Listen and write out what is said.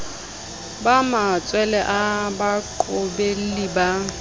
ba matshwele a baqobelli ba